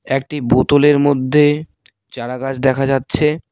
একটি বোতলের মধ্যে চারাগাছ দেখা যাচ্ছে।